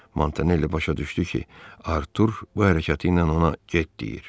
Montanelli başa düşdü ki, Artur bu hərəkəti ilə ona get deyir.